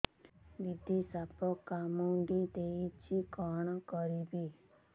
ଦିଦି ସାପ କାମୁଡି ଦେଇଛି କଣ କରିବି